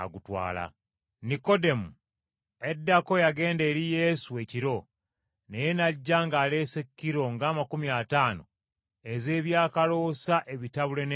Nikodemo, eddako eyagenda eri Yesu ekiro, naye n’ajja ng’aleese kilo ng’amakumi ataano ez’ebyakoloosa ebitabule n’envumbo.